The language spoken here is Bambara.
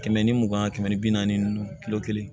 Kɛmɛ ni mugan kɛmɛ ni bi naani ninnu kilo kelen